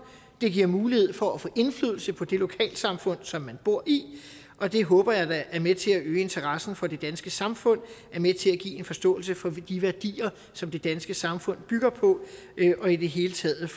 det giver mulighed for at få indflydelse på det lokalsamfund som man bor i og det håber jeg da er med til at øge interessen for det danske samfund er med til at give en forståelse for de værdier som det danske samfund bygger på og i det hele taget